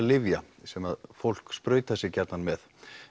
lyfja sem fólk sprautar sig með